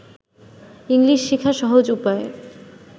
English শিখার সহজ উপায়